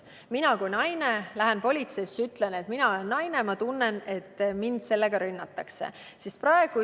Mina kui naine lähen seepeale politseisse ja ütlen, et mina kui naine tunnen, et mind selle rünnatakse.